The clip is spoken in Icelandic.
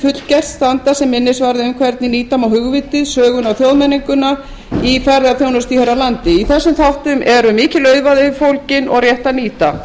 fullgert standa sem minnisvarði um hvernig nýta má hugvitið söguna og þjóðmenninguna i ferðaþjónustu hér á landi í þessum þáttum eru mikil auðæfi fólgin og rétt að nýta